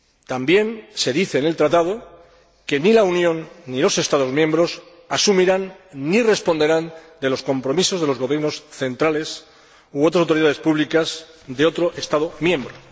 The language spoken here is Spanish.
También se dice en el Tratado que ni la Unión, ni los Estados miembros asumirán ni responderán de los compromisos de los gobiernos centrales u otras autoridades públicas de otro Estado miembro.